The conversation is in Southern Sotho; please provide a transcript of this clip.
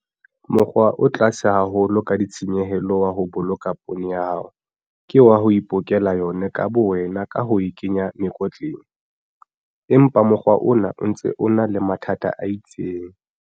Mokgwa o tlase haholo ka ditshenyehelo wa ho boloka poone ya hao ke wa ho ipolokela yona ka bowena ka ho e kenya mekotleng, empa mokgwa ona o ntse o na mathata a itseng.